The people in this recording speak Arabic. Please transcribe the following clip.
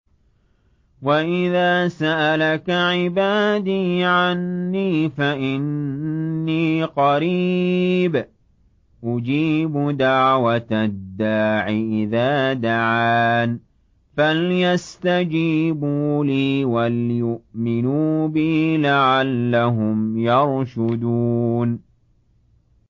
وَإِذَا سَأَلَكَ عِبَادِي عَنِّي فَإِنِّي قَرِيبٌ ۖ أُجِيبُ دَعْوَةَ الدَّاعِ إِذَا دَعَانِ ۖ فَلْيَسْتَجِيبُوا لِي وَلْيُؤْمِنُوا بِي لَعَلَّهُمْ يَرْشُدُونَ